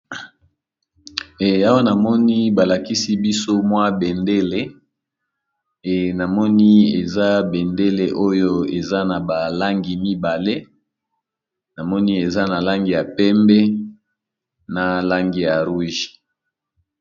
Awa namoni balakisi biso mwa bendele de namoni eza bendele oyo ezanabalangi mibale namoni eza nalangi yapembe nalangi ya Rouge